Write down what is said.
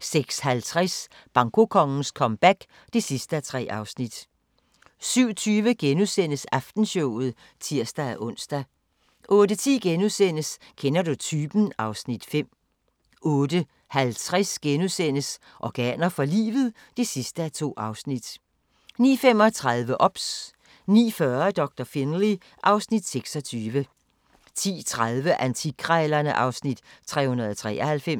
06:50: Bankokongens comeback (3:3) 07:20: Aftenshowet *(tir-ons) 08:10: Kender du typen? (Afs. 5)* 08:50: Organer for livet? (2:2)* 09:35: OBS 09:40: Doktor Finlay (Afs. 26) 10:30: Antikkrejlerne (Afs. 393)